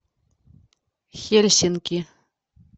хельсинки